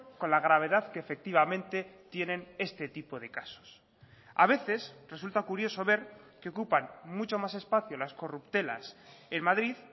con la gravedad que efectivamente tienen este tipo de casos a veces resulta curioso ver que ocupan mucho más espacio las corruptelas en madrid